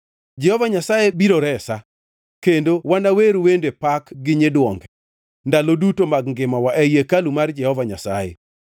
Jehova Nyasaye biro resa, kendo wanawer wende pak gi nyiduonge, ndalo duto mag ngimawa ei hekalu mar Jehova Nyasaye.